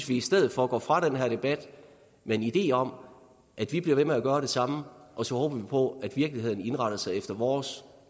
vi i stedet for går fra den her debat med en idé om at vi bliver ved med at gøre det samme og så håber vi på at virkeligheden indretter sig efter vores